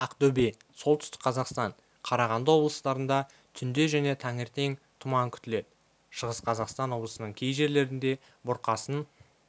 ақтөбе солтүстік қазақстан қарағанды облыстарында түнде және таңертең тұман күтіледі шығыс қазақстан облысының кей жерлерінде бұрқасын